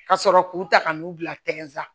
Ka sɔrɔ k'u ta ka n'u bila la